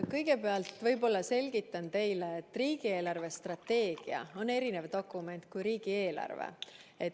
Kõigepealt võib-olla selgitan teile, et riigi eelarvestrateegia on erinev dokument kui riigieelarve.